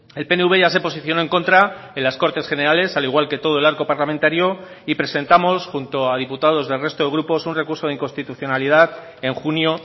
el pnv ya se posicionó en contra en las cortes generales al igual que todo el arco parlamentario y presentamos junto a diputados del resto de grupos un recurso de inconstitucionalidad en junio